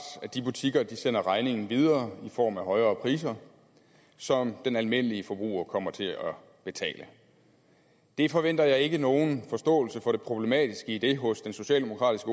at de butikker sender regningen videre i form af højere priser som den almindelige forbruger kommer til at betale jeg forventer ikke nogen forståelse for det problematiske i det hos den socialdemokratiske